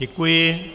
Děkuji.